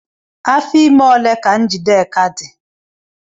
Afọ ime ole ka Njideka dị?